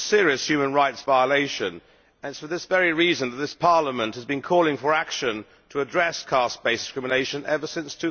It is a serious human rights violation and it is for this very reason that this Parliament has been calling for action to address caste based discrimination ever since